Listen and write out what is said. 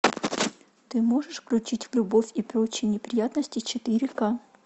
ты можешь включить любовь и прочие неприятности четыре ка